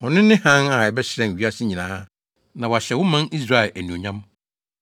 Ɔno ne hann a ɛbɛhyerɛn wiase nyinaa na wahyɛ wo man Israel anuonyam!”